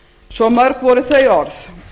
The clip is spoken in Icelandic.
svo mörg voru þau orð